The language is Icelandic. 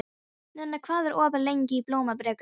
Nenna, hvað er opið lengi í Blómabrekku?